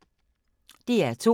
DR2